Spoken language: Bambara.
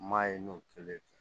Ma ye n'o kɛlen